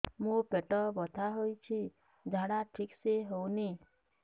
ମୋ ପେଟ ବଥା ହୋଉଛି ଝାଡା ଠିକ ସେ ହେଉନି